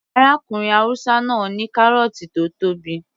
Arákùnrin haúsá náà ní kárọ̀ọ̀tì tó tóbi